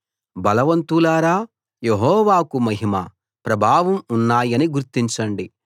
బలవంతులారా యెహోవాకు మహిమ ప్రభావం ఉన్నాయని గుర్తించండి